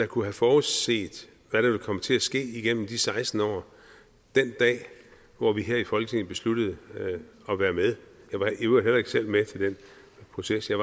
kunne have forudset hvad der ville komme til at ske igennem de seksten år den dag hvor vi her i folketinget besluttede at være med jeg var i øvrigt heller ikke selv med til den proces jeg